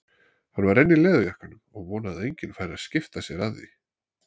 Hann var enn í leðurjakkanum og vonaði að enginn færi að skipta sér af því.